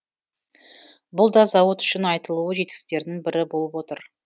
бұл да зауыт үшін айтулы жетістіктердің бірі болып отыр